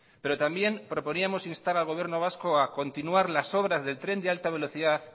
pero también proponíamos instar al gobierno vasco a continuar las obras del tren de alta velocidad